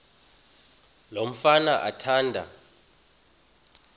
lo mfana athanda